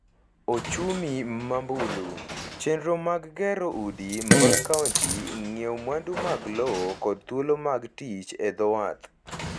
ochumi ma mbulu, chenro mag gero udi mag kaonti, ng’iewo mwandu mag lo kod thuolo mag tich e dho wath.